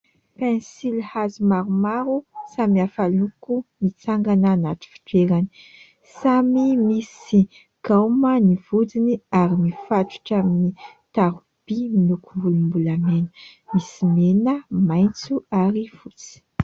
Pensilihazo maromaro samihafa loko mitsangana anaty fitoerany samy misy gaoma ny lohany ary mifatotra amin'ny taroby miloko volom-bolamena misy mena, maitso ary fotsy.